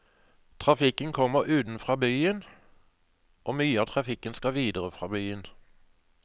Trafikken kommer utenfra byen, og mye av trafikken skal videre fra byen.